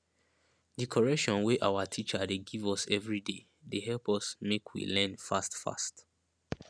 di correction wey awa teacher dey give us everyday dey help us make we learn fast fast